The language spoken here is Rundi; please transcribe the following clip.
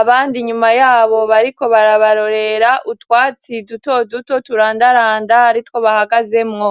abandi inyuma yabo bariko barabarorera utwatsi duto duto turandaranda aritwo bahagazemwo.